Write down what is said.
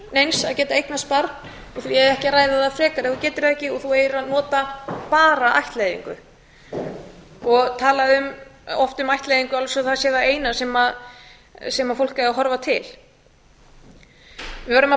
að geta eignast barn og því eigi ekki að ræða það frekar ef þú getur það ekki og þú eigir að nota bara ættleiðingu og oft talað um ættleiðingu eins og það sé það eina sem fólk eigi að horfa til við verðum að